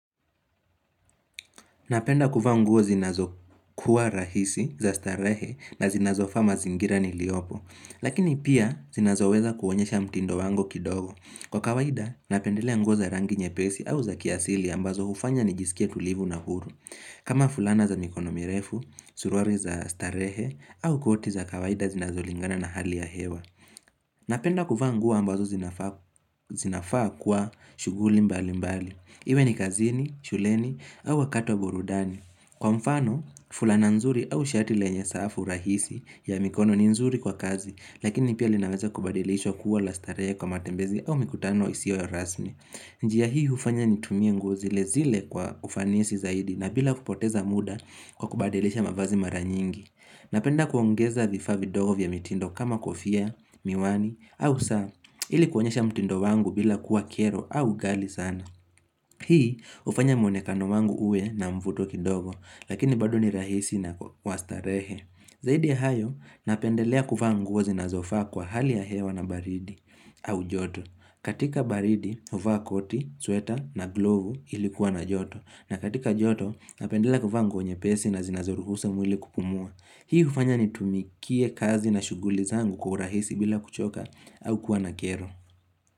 Napenda kuvaa nguo zinazokuwa rahisi za starehe na zinazofaa mazingira niliopo. Lakini pia zinazoweza kuonyesha mtindo wangu kidogo. Kwa kawaida, napendelea nguo za rangi nyepesi au za kiasili ambazo hufanya nijisikie tulivu na huru. Kama fulana za mikono mirefu, suruari za starehe au koti za kawaida zinazolingana na hali ya hewa. Napenda kuvaa nguo ambazo zinafaa kuwa shughuli mbali mbali. Iwe ni kazini, shuleni au wakati wa burudani Kwa mfano, fulana nzuri au shati lenye safu rahisi ya mikono ni nzuri kwa kazi Lakini pia linaweza kubadilishwa kuwa la starehe kwa matembezi au mikutano isio ya rasmi njia hii hufanya nitumie nguo zilezile kwa ufanisi zaidi na bila kupoteza muda kwa kubadilisha mavazi mara nyingi Napenda kuongeza vifaa vidogo vya mitindo kama kofia, miwani au saa ili kuonyesha mtindo wangu bila kuwa kero au ghali sana Hii hufanya muonekano wangu uwe na mvuto kidogo, lakini bado ni rahisi na wa starehe. Zaidi ya hayo, napendelea kuvaa nguo zinazofaa kwa hali ya hewa na baridi au joto. Katika baridi, hufaa koti, sweta na glovu ili kuwa na joto. Na katika joto, napendelea kuvaa nguo nyepesi na zinazoruhusu mwili kupumua. Hii hufanya nitumikie kazi na shughuli zangu kwa rahisi bila kuchoka au kuwa na kero.